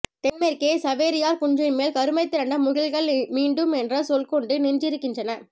தென்மேற்கே சவேரியார் குன்றின்மேல் கருமைதிரண்ட முகில்கள் மீண்டும் என்ற சொல்கொண்டு நின்றிருக்கின்றன